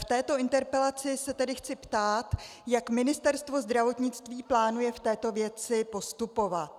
V této interpelaci se tedy chci ptát, jak Ministerstvo zdravotnictví plánuje v této věci postupovat.